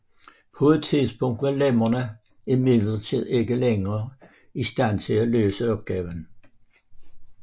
På et tidspunkt var lemmerne imidlertid ikke længere i stand til at løse opgaven